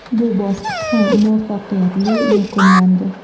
Bu bosqich ham muvaffaqiyatli yakunlandi.